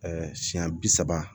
siɲɛ bi saba